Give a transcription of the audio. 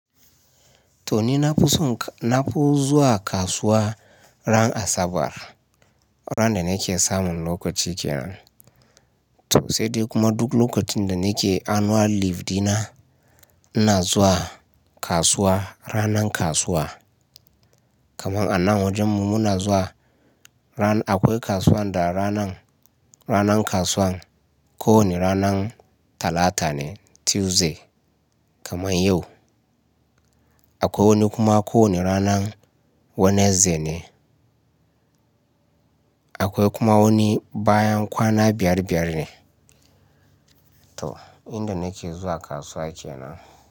To ni na fi son, na fi zuwa kasuwa ran Asabar, ran da nake samun lokaci kenan. To sai dai kuma duk lokacin da nake annual leave dina, ina zuwa kasuwa ranan kasuwa. Kaman anan wajenmu muna zuwa ran-- akwai kasuwan da ranan, ranan kasuwan kowani ranan Talata ne, Tuesday kaman yau. Akwai wani kuma ko ne ranan Wednesday ne. Akwai kuma wani bayan kwana biyar-biyar ne. To, inda nake zuwa kasuwa kenan.